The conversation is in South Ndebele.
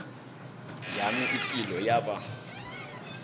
yami ipilo yaba